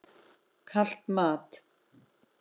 Kalt mat?